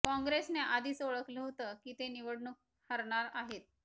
काँग्रेसने आधीच ओळखलं होतं की ते निवडणूक हरणार आहेत